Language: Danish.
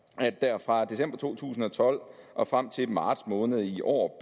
at der fra december to tusind og tolv og frem til marts måned i år